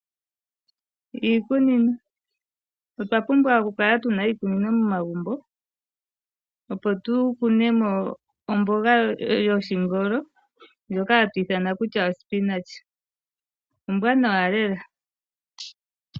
Iikunino. Otwa pumbwa okukala tuna iikunino momagumbo opo tukune mo omboga yoshingolo ndjoka hatu ithana omboga yuushimba ombwanawa lela.